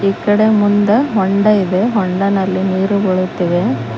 ಈಕಡ ಮುಂದ ಹೊಂಡ ಇದೆ ಹೊಂಡನಲ್ಲಿ ನೀರು ಬೀಳುತ್ತಿವೆ.